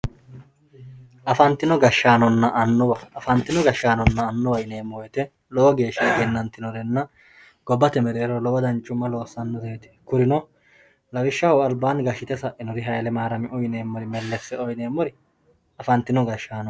Afantino gashshaanonna annuwaho yineemmo woyte lowo geeshsha egenantinore gobbate mereero lowo danchuma loossanoreti kurino lawishshaho albaani gashshite sainori Haile Mariyamiu yinemmori, Melleseo yinemmori afantino gashshaanoti.